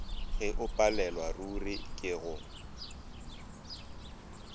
ge o palelwaruri ke go